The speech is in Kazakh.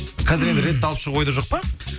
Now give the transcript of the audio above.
қазір енді рэпті алып шығу ойда жоқ па